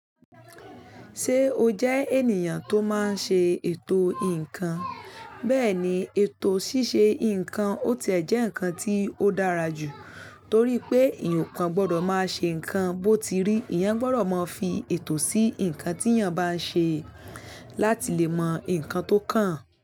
Ṣé o jẹ́ ènìyàn tó máa ń ṣe ètò ǹkan? Bẹ́ẹ̀ni, ètò ṣíṣe ǹkan ó tiẹ̀ jẹ́ ǹkan tí ó dára jù, torí pé eyaǹ kọ gbọ́dọ̀ máa ṣe ǹkan bó ti rí. Ìyẹn gbọ́dọ̀ máa fi ètò sí ǹkan tí èèyàn bá ń ṣe láti lè mọ ǹkan tó kàn án.